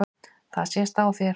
Það sést á þér